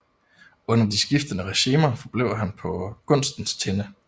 Under de skiftende regimer forblev han på gunstens tinde